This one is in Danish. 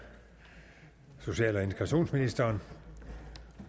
social og integrationsministeren